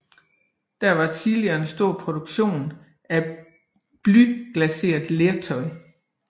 Her var tidligere en stor produktion af blyglaseret lertøj